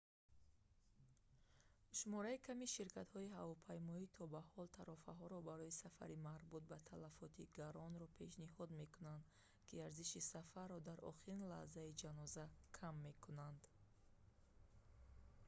шумораи ками ширкатҳои ҳавопаймоӣ то ба ҳол тарофаҳоро барои сафари марбут ба талафоти гаронро пешниҳод мекунанд ки арзиши сафарро дар охирин лаҳзаи ҷаноза кам мекунанд